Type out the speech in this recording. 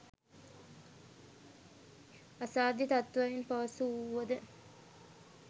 අසාධ්‍ය තත්ත්වයෙන් පසු වුවද